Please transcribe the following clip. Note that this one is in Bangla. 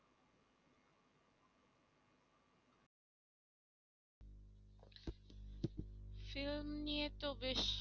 film নিয়ে তো বেশ